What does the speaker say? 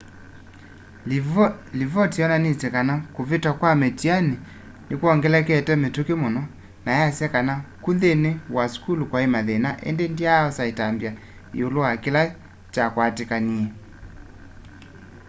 livoti yonanisye kana kuvita kwa mĩtianĩ nĩwongelekete mituki muno na yasya kana ku nthĩnĩ wa sukulu kwai mathĩna ĩndĩ ndyaosa ĩtambya ĩũlũ wa kĩla kyakwatĩkanie